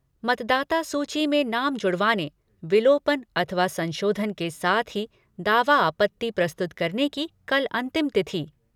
मतदाता सूची में नाम जुड़वाने, विलोपन अथवा संशोधन के साथ ही दावा आपत्ति प्रस्तुत करने की कल अंतिम तिथि।